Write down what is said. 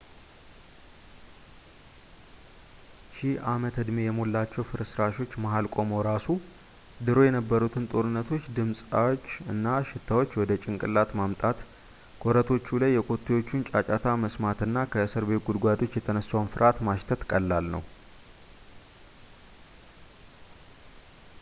ሺህ ዓመት-ዕድሜ የሞላቸው ፍርስራሾች መሃል ቆመው ራሱ ድሮ የነበሩትን ጦርነቶች ድምፆች እና ሽታዎች ወደ ጭንቅላት ማምጣት ኮረቶቹ ላይ የኮቴዎቹን ጫጫታ መስማት እና ከእስር ቤት ጉድጓዶች የተነሳውን ፍርሃት ማሽተት ቀላል ነው